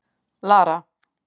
Lara